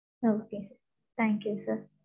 Okay sir thank you sir